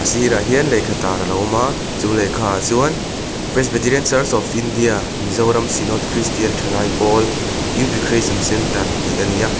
sirah hian lehkha tar a lo awm a chu lehkha ah chuan presbyterian church of india mizoram synod christian thalai pawl youth recreation centre tih a ni a.